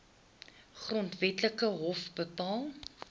grondwetlike hof bepaal